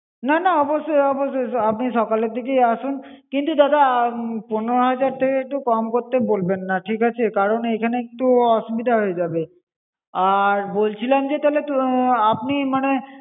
না না অবশ্যই অবশ্যই! আপনি সকালের দিকেই আসুন। কিন্তু দাদা পনেরো হাজার থেকে একটু কম করতে বলবেন না, ঠিক আছে? কারণ এইখানে একটু অসুবিধা হয়ে যাবে। আর বলছিলাম যে তাহলে আহ আপনি মানে